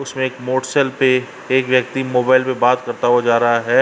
उसमें एक मोटस्ल पे एक व्यक्ति मोबाइल पे बात करता हुआ जा रहा है।